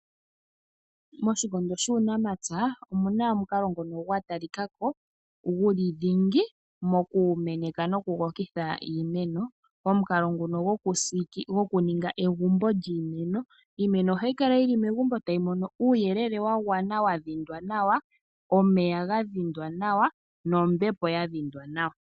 Moshikondo shuunamapya omu na omukalo ngono gwa talika ko guli dhingi moku meneka nokukokitha iimeno, omukalo nguno goku ninga egumbo lyiimeno iimeno ohayi Kala yili megumbo tayi mono uuyelele wa gwana wa dhindwa nawa, omeya ga dhindwa nombepo ya dhindwa nawa.